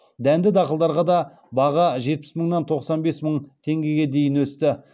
дәнді дақылдарға да баға жетпіс мыңнан тоқсан бес мың теңгеге дейін өсті